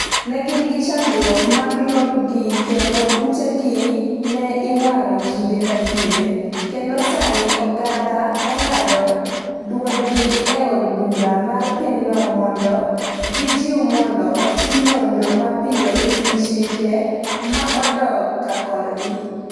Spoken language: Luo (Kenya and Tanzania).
ne gin gi chandruok mag lopgi kendo ute gi ne iwang'o kinde ka kinde, kendo sani ogandano ng’ado dwondgi e od bura mar pinyno mondo gijiw mondo otim nonro mapiyo e wi chike ma odok kakorgi